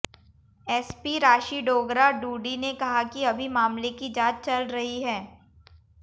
SP Rashi Dogra Dudi ने कहा कि अभी मामले की जांच चल रही है